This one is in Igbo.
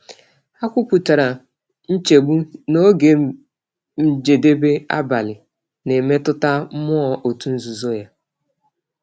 Ha kwupụtara nchegbu na oge njedebe abalị na-emetụta mmụọ otu n’ozuzu ya.